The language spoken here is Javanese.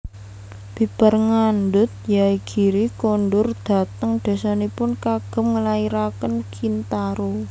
Bibar ngandhut Yaegiri kondur dhateng désanipun kagem nglairaken Kintaro